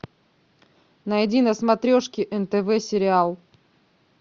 найди на смотрешке нтв сериал